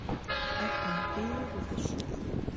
афина ты ее любишь